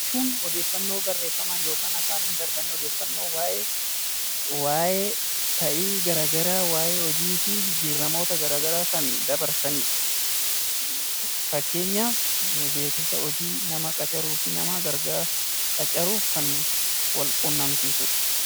Beeksisa jechuun odeeffannoo barreeffamaan yookaan afaaniin darbanii odeeffannoo waa'ee ta'ii gara garaa, waa'ee hojii fi jijjiiramoota gara garaa kan dabarsani dha. Fakkeenyaaf beeksisa hojii, nama qacaruuf kan wal quunnamsiisu dha.